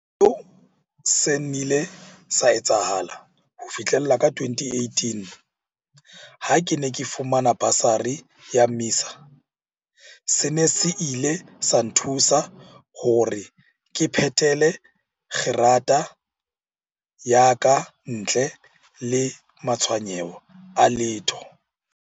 Seo se nnile sa etsahala ho fihlela ka 2018 ha ke ne ke fumana basari ya MISA. Sena se ile sa nthusa hore ke phethele kgerata ya ka ntle le matshwenyeho a letho.